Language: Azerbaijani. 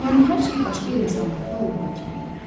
Yəni hər şey başqa insanlarda olduğu kimi idi.